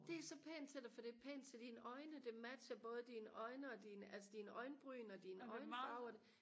det er så pænt til dig for det er pænt til dine øjne det matcher både dine øjne og dine altså dine øjenbryn og din øjenfarve og det